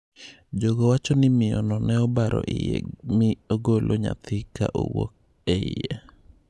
Jogo wacho ni miyono ne obaro iye mi ogolo nyathi ka owuok e iye.